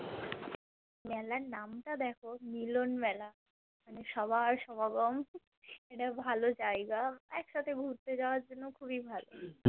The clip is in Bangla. মেলার নাম টা দেখো মিলন মেলা মানে সবার সমাগম এটা ভালো জায়গা এক সাথে ঘুরতে যাওয়ার জন্য খুব ই ভালো